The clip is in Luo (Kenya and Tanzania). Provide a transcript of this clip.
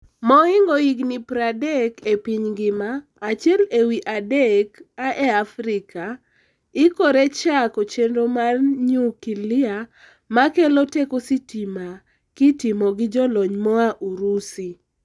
mohingo higni 30 epiny ngima, achiel ewi adek aa e Afrika ikore chako chenro mar nyukilia makelo teko sitima kitimo gi jolony moa Urusi.